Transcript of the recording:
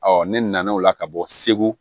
ne nana o la ka bɔ segu